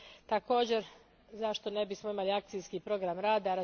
Također, zašto ne bismo imali akcijski program rada?